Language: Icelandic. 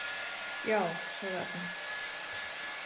Já, sagði Agne.